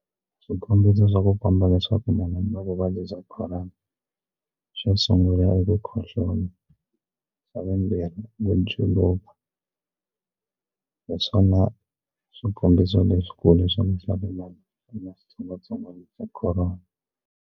Swikombiso swa ku komba leswaku munhu u na vuvabyi bya Corona xo sungula i ku khohlola xa vumbirhi i ku juluka hi swona swikombiso leswikulu swa mi xitsongwatsongwana xa Corona.